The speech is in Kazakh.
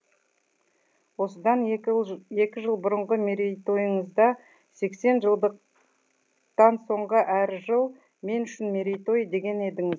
осыдан екі жыл бұрынғы мерейтойыңызда сексен жылдықдан соңғы әрі жыл мен үшін мерейтой деген едіңіз